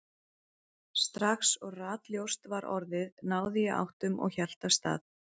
Strax og ratljóst var orðið náði ég áttum og hélt af stað.